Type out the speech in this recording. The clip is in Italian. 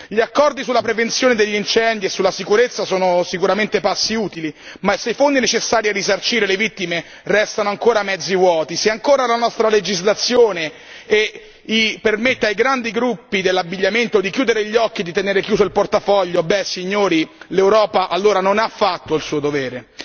Gli accordi sulla prevenzione degli incendi e sulla sicurezza sono sicuramente passi utili, ma se i fondi necessari a risarcire le vittime restano ancora mezzi vuoti, se ancora la nostra legislazione permette ai grandi gruppi dell'abbigliamento di chiudere gli occhi e di tenere chiuso il portafoglio, signori, l'Europa allora non ha fatto il suo dovere.